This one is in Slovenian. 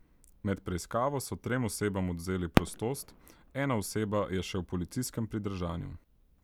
Med preiskavo so trem osebam odvzeli prostost, ena oseba je še v policijskem pridržanju.